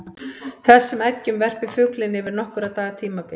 Þessum eggjum verpir fuglinn yfir nokkurra daga tímabil.